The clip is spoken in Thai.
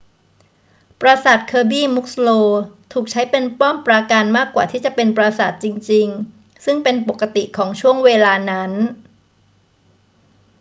ปราสาท kirby muxloe ถูกใช้เป็นป้อมปราการมากกว่าที่จะเป็นปราสาทจริงๆ ซึ่งเป็นปกติของช่วงเวลานั้น